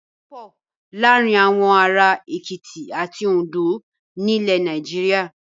Iyán wọ́pọ̀ láàárin àwọn ará Èkìtì àti Oǹdó ní ilẹ̀ Nàìjíríà.